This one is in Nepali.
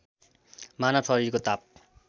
मानव शरीरको ताप